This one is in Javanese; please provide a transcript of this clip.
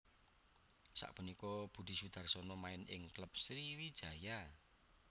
Sapunika Budi Sudarsono main ing klub Sriwijaya